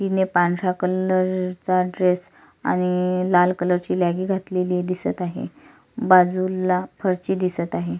तिने पांढऱ्या कलर चा ड्रेस आणि लाल कलर ची लॅगी घातलेली दिसत आहे बाजुला फरशी दिसत आहे.